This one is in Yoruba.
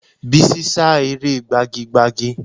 Bísí sá eré gbagi gbagi